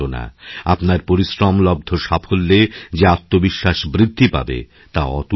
আপনার পরিশ্রমলব্ধ সাফল্যেযে আত্মবিশ্বাস বৃদ্ধি পাবে তা অতুলনীয়